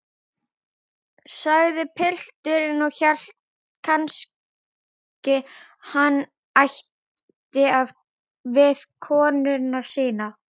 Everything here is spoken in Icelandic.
sagði pilturinn og hélt kannski hann ætti við konuna sína.